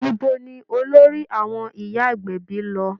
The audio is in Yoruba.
Ibo ni olórí àwọn ìyá agbẹ̀bí lọ?